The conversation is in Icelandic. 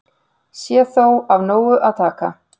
Sé þó af nógu að taka